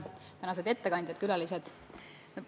Lugupeetud tänased ettekandjad, külalised!